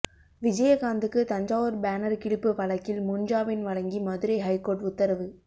விஜயகாந்த்துக்கு Thanjavur banner கிழிப்பு வழக்கில் முன் ஜாமீன் வழங்கி மதுரை ஹைகோர்ட் உத்தரவு